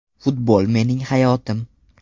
Futbol mening hayotim.